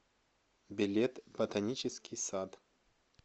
билет ботанический сад